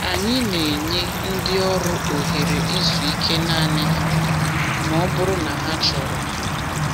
Anyị na-enye ndị ọrụ ohere izu ike naanị ha ma ọ bụrụ na ha chọrọ.